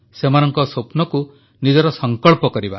ସେମାନଙ୍କ ସ୍ୱପ୍ନକୁ ନିଜର ସଂକଳ୍ପ କରିବା